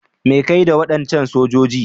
Me kake yi da wadancan sojoji?